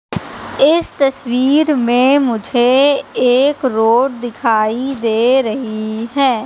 इस तस्वीर में मुझे एक रोड दिखाई दे रही है।